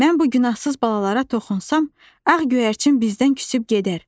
Mən bu günahsız balalara toxunsam, ağ göyərçin bizdən küsüb gedər.